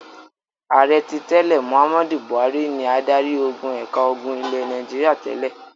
Ààrẹ tí tẹ́lẹ̀ Mohammed Buhari ni adarí-ogun ẹ̀ka ogun ilẹ̀ Nàìjíríà tẹ́lẹ̀.